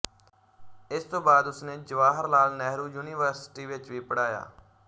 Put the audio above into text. ਇਸ ਤੋਂ ਬਾਅਦ ਉਸਨੇ ਜਵਾਹਰ ਲਾਲ ਨਹਿਰੂ ਯੂਨੀਵਰਸਿਟੀ ਵਿੱਚ ਵੀ ਪੜ੍ਹਾਇਆ